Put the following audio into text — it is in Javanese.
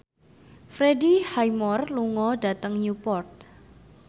Freddie Highmore lunga dhateng Newport